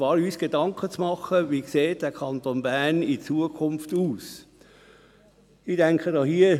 Wir müssen uns Gedanken machen, wie der Kanton Bern in Zukunft aussehen soll.